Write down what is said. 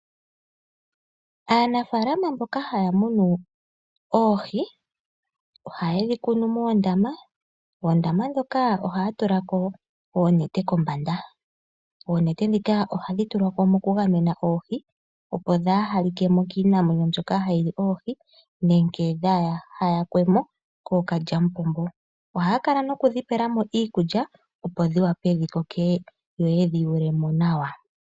Aanafalama mboka haya munu oohi ohaye dhi kunu moondama, koondama dhoka ohaya tula ko oonete kombanda. Oonete dhika ohadhi tulwa ko mokugamena oohi opo dhaa halikemo kiinamwenyo mbyoka hayi li oohi, nenge dhaa hayakwemo koo kalyamupombo. Ohaya kala nokudhipelamo iikulya, opo dhi wape dhi koke yo yedhi yuule mo nawa.